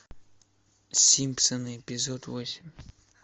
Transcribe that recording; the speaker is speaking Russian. симпсоны эпизод восемь